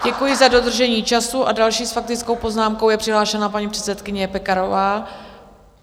Děkuji za dodržení času a další s faktickou poznámkou je přihlášena paní předsedkyně Pekarová.